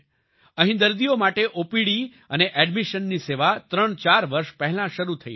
અહીં દર્દીઓ માટે ઓપીડી અને એડમિશનની સેવા ત્રણચાર વર્ષ પહેલાં શરૂ થઈ હતી